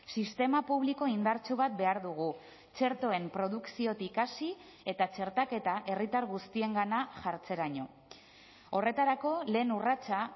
sistema publiko indartsu bat behar dugu txertoen produkziotik hasi eta txertaketa herritar guztiengana jartzeraino horretarako lehen urratsa